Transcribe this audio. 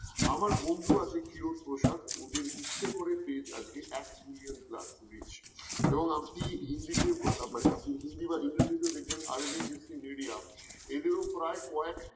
আমার বন্ধু আছে কিয়তপ্রসাদ ওদের ইচ্ছে করে page আজকে এক মিলিয়ন plusreach এবং আপনি হিন্দিতে মানে হিন্দি বা ইংলিশ দেখবেন আরবি distance media এদেরও প্রায় কয়েক